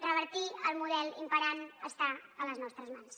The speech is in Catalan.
revertir el model imperant està a les nostres mans